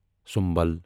symbol